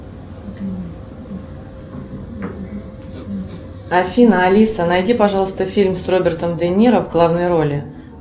афина алиса найди пожалуйста фильм с робертом де ниро в главной роли